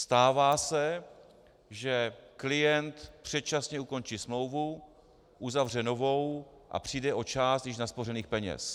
Stává se, že klient předčasně ukončí smlouvu, uzavře novou a přijde o část již naspořených peněz.